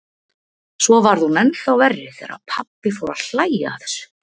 Svo varð hún ennþá verri þegar pabbi fór að hlæja að þessu.